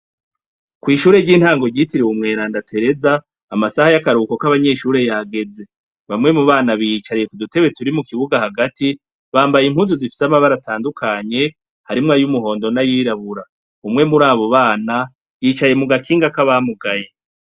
Kw'ishure ry'intango ryitiriwe umweranda Tereza, amasaha y'akaruhuko k'abanyeshure yageze, bamwe mubana biyicariye mudutebe turi mukibuga hagati, bambaye impuzu zifise amabara atandukanye, harimwo ayumuhondo n'ayirabura. umwe murabo bana yicaye mugakinga kabamugaye.